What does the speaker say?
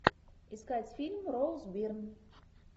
искать фильм роуз бирн